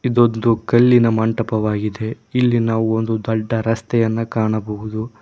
ಇದು ಒಂದು ಕಲ್ಲಿನ ಮಂಟಪವಾಗಿದೆ ಇಲ್ಲಿ ಒಂದು ದೊಡ್ಡ ರಸ್ತೆಯನ್ನು ಕಾಣಬಹುದು.